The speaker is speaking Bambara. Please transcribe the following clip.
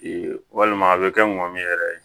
walima a bɛ kɛ ŋamu yɛrɛ